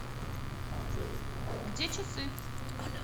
где часы